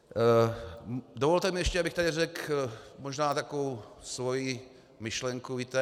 Dovolte mi ještě, abych tady řekl možná takovou svoji myšlenku.